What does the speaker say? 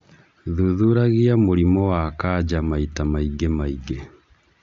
Thuthuragia mũrimũ wa kanja maita maingĩ maingĩ